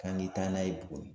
Ka n'i da n'a ye tuguni.